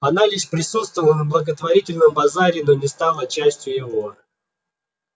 она лишь присутствовала на благотворительном базаре но не стала частью его